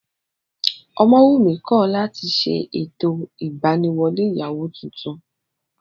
Ọmọwùnmí kọ̀ láti ṣe ètò ìgbaniwọlé ìyàwó tuntun